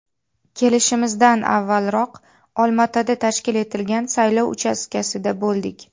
Kelishimizdan avvalroq Olmaotada tashkil etilgan saylov uchastkasida bo‘ldik.